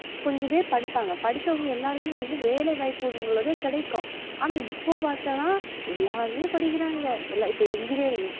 கொஞ்சபேரு படிப்பாங்க படிச்சவுங்க எல்லாருக்குமே வந்து வேலைவாய்ப்பு உள்ளது கிடைக்கும் ஆனா இப்ப பத்தனா எல்லாருமே படிக்குறாங்க எல்ல இப்ப engineering